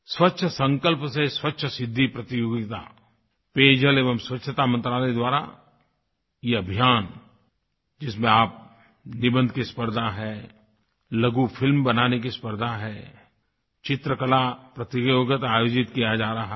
स्वच्छसंकल्प से स्वच्छसिद्धि प्रतियोगिता पेयजल एवं स्वच्छता मंत्रालय द्वारा ये अभियान जिसमें आप निबंध की स्पर्धा है लघुफिल्म बनाने की स्पर्धा है चित्रकलाप्रतियोगिता आयोजित की जा रही है